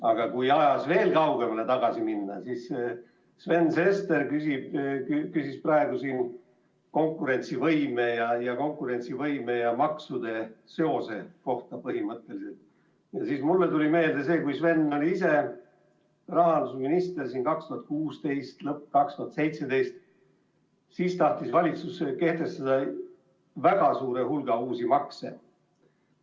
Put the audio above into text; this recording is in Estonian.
Aga kui ajas kaugemale tagasi minna, siis seoses sellega, et Sven Sester küsis praegu siin põhimõtteliselt konkurentsivõime ja maksude seose kohta, tuli mulle meelde, et kui Sven ise oli rahandusminister, 2016. aasta lõpp ja 2017, siis tahtis valitsus kehtestada väga suure hulga uusi makse.